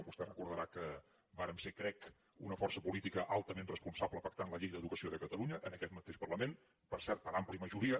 vostè recordarà que vàrem ser ho crec una força política altament responsable pactant la llei d’educació de catalunya en aquest mateix parlament per cert per àmplia majoria